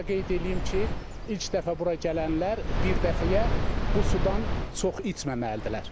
Və onu da qeyd eləyim ki, ilk dəfə bura gələnlər bir dəfəyə bu sudan çox içməməlidirlər.